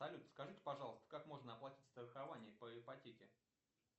салют скажите пожалуйста как можно оплатить страхование по ипотеке